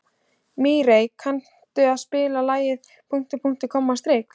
Mírey, kanntu að spila lagið „Punktur, punktur, komma, strik“?